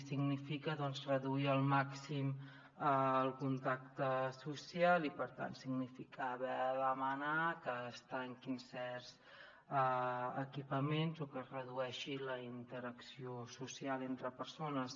significa reduir al màxim el contacte social i per tant significa haver de demanar que es tanquin certs equipaments o que es redueixi la interacció social entre persones